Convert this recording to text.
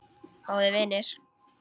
Góðir vinir.